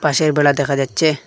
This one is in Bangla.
বাঁশের বেড়া দেখা যাচ্ছে।